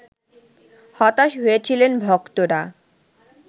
হতাশ হয়েছিলেন ভক্তরা